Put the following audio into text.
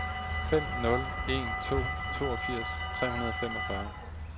fem nul en to toogfirs tre hundrede og femogfyrre